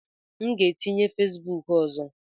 M ga-etinye Fesibuku ọzọ.